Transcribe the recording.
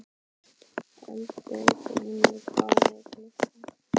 Eldgrímur, hvað er klukkan?